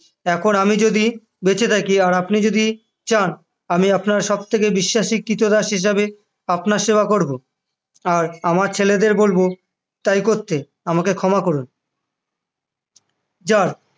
এখন আমি যদি বেঁচে থাকি আর আপনি যদি চান আমি আপনার সব থেকে বিশ্বাসী ক্রীতদাস হিসেবে আপনার সেবা করবো আর আমার ছেলেদের বলব তাই করতে আমাকে ক্ষমা করুন জার